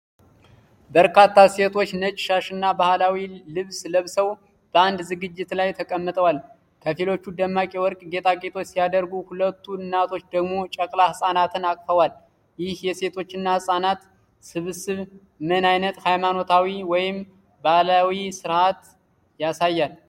በርካታ ሴቶች ነጭ ሻሽና ባህላዊ ልብስ ለብሰው በአንድ ዝግጅት ላይ ተቀምጠዋል። ከፊሎቹ ደማቅ የወርቅ ጌጣጌጦች ሲያደርጉ፣ ሁለቱ እናቶች ደግሞ ጨቅላ ሕፃናትን አቅፈዋል። ይህ የሴቶችና ሕፃናት ስብስብ ምን አይነት ሃይማኖታዊ ወይም ባህላዊ ስርዓት ያሳያል?